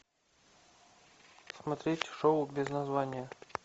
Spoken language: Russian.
смотреть шоу без названия